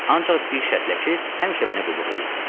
Ancaq bir şərtlə ki, həmişə mənə qulluq eləyəsən.